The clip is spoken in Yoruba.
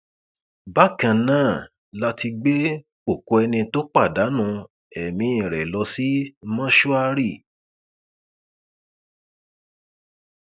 bákan náà la ti gbé òkú ẹni tó pàdánù ẹmí rẹ lọ sí mọṣúárì